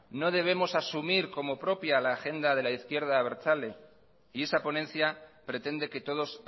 no debemos asumir como propia la agenda de la izquierda abertzale y esa ponencia pretende que todos